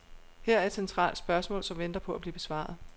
Her er et centralt spørgsmål, som venter på at blive besvaret.